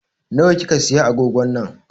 Na wa kika siya agogon nan?